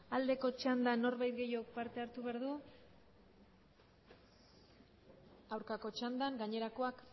aldeko txanda norbait gehiago parte hartu behar du aurkako txandan gainerakoak